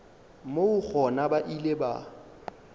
moo gona ba ile ba